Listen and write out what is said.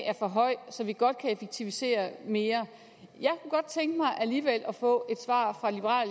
er for høj så vi godt kan effektivisere mere jeg kunne godt tænke mig alligevel at få et svar fra liberal